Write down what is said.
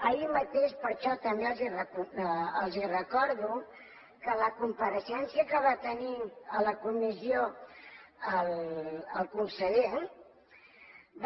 ahir mateix per això també els ho recordo a la compareixença que va tenir a la comissió el conseller